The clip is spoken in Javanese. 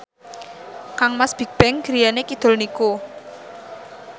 kangmas Bigbang griyane kidul niku